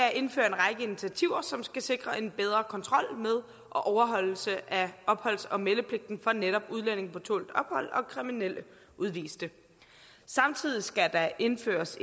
at indføre en række initiativer som skal sikre en bedre kontrol med og overholdelse af opholds og meldepligten for netop udlændinge på tålt ophold og kriminelle udviste samtidig skal der indføres